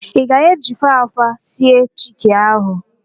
Ị ga-ejikwa ákwà sie chiki ahụ?